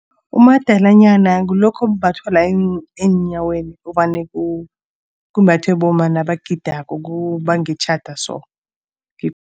Umadalanyana ngilokhu okumbathwa la eenyaweni, ovane kumbathwe bomma nabagidako kubangitjhada so.